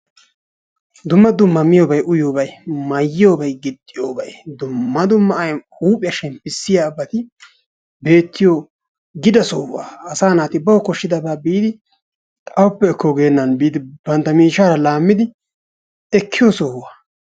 Dumma dumma miyoobay uyyiyoobay mayyiyoobay giixxiyoobay dumma dumma huphphiyaa shemppisiyaabati bettiyoo gida sohuwaa. Asaa naati bawu kooshidabaa biidi awuppe ekko geennan biidi bantta miishshara laammidi ekkiyoo sohuwaa.